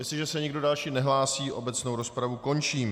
Jestliže se nikdo další nehlásí, obecnou rozpravu končím.